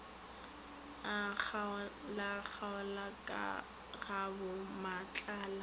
a kgaolakgaola ka gabommatlala a